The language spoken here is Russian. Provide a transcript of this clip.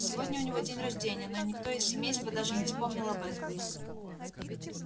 сегодня у него день рождения но никто из семейства даже не вспомнил об этом